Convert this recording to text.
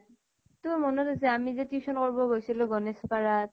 তোৰ মনত আছে আমি যে tuition কৰিব গৈছিলো গনেশ পাৰাত?